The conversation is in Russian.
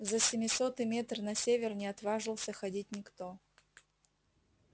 за семисотый метр на север не отваживался ходить никто